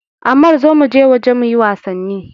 Ammar zo muje waje muyi wasanni!